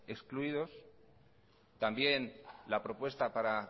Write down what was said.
excluidos también la propuesta para